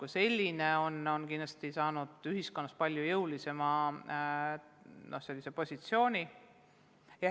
Haridusvaldkond on kindlasti saanud ühiskonnas varasemast palju jõulisema positsiooni.